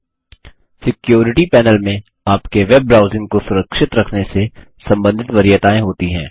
security panel security panel में आपके web browsing को सुरक्षित रखने से संबंधित वरीयताएँ होती हैं